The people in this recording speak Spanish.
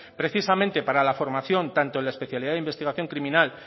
precisamente para la formación tanto en la especialidad de investigación criminal